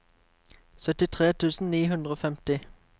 syttitre tusen ni hundre og femti